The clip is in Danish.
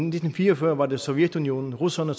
nitten fire og fyrre var det sovjetunionen russerne